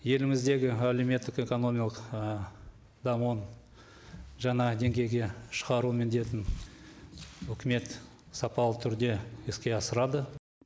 еліміздегі әлеуметтік экономикалық дамуын жаңа деңгейге шығару міндетін үкімет сапалы түрде іске асырады